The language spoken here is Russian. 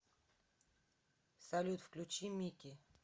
салют включи мики